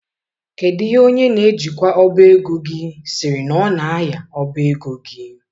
Kedu ihe onye na-ejikwa ọbá ego gị siri na ọ na-aya ọbá ego gi?